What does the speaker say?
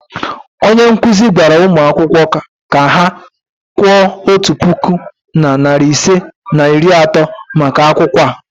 onye nkuzi gwara ụmụ akwụkwọ ka ha kwụọ otu puku na narị ise na iri atọ maka akwụkwọ a.